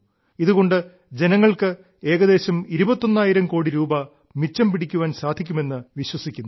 ഇതുകൊണ്ട് ജനങ്ങൾക്ക് ഏകദേശം ഇരുപത്തൊന്നായിരം കോടി രൂപ മിച്ചം പിടിക്കാൻ സാധിക്കുമെന്ന് വിശ്വസിക്കുന്നു